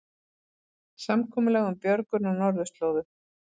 Samkomulag um björgun á norðurslóðum